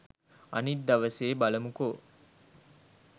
අනිත් දවසේ බලමුකෝ